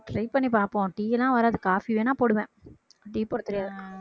try பண்ணிப்பாப்போம் tea லாம் வராது coffee வேணா போடுவேன் tea போடத் தெரியாது